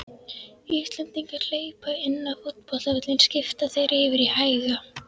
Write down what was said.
Íslendingar hlaupa inn á fótboltavöll skipta þeir yfir í hæga